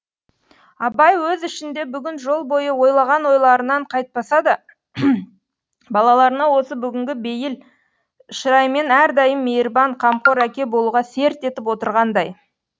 абай өз ішінде бүгін жол бойы ойлаған ойларынан қайтпаса да балаларына осы бүгінгі бейіл шыраймен әрдайым мейірбан қамқор әке болуға серт етіп отырғандай